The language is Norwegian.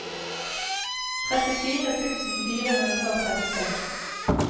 trettifire tusen fire hundre og trettiseks